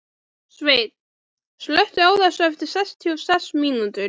Sveinn, slökktu á þessu eftir sextíu og sex mínútur.